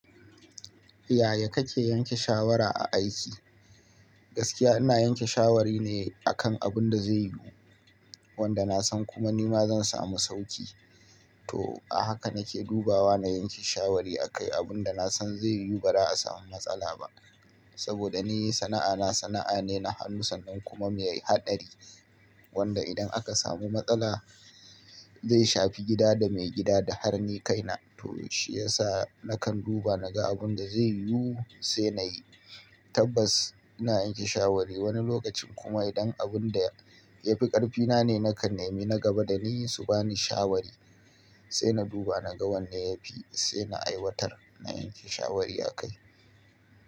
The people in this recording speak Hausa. Yaya kake yanke shawara a aiki? Gaskiya ina yanke shawari ne akan abin da zai yiwu, wanda nasan kuma nima zan samu sauki. To a haka nake dubawa na yanke shawari a kai abin da nasan zai yiwu ba za a samu matsala ba. Saboda ni sana'ana sana'a ne na hannu sannan kuma mai haɗari. Wanda idan aka samu matsala, zai shafi gida da maigida da har ni kaina. To shi yasa na kan duba naga abinda zai yiwu sai nayi. Tabbas ina yanke shawari wani lokacin kuma idan abin da ya fi ƙarfina ne nakan nemi na gaba da ni su bani shawari. Sai na duba naga wanne yafi, sai na aiwatar na yanke shawari a kai.